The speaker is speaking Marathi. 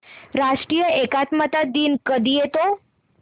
राष्ट्रीय एकात्मता दिन कधी येतो